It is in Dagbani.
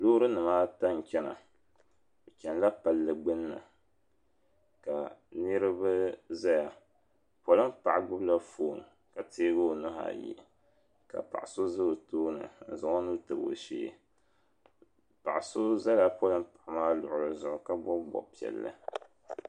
loori nima ata n-chana bɛ chanila palli gbunni ka niriba zaya polin' paɣa gbubi la foon ka teegi o nuhi ayi ka paɣ' so za o tooni n-zaŋ o nuu tabi o sheei paɣ' so zala polin' paɣa maa luɣili zuɣu ka bɔbi bɔb' piɛlli